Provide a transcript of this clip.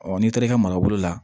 n'i taara i ka marabolo la